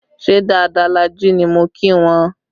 Ṣé dáadáa la jí ni mo kí wọn